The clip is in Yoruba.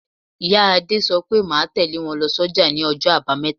Ìyá Adé sọ pé máa tẹle wọn lọ s'oja ní ọjọ́ abameta.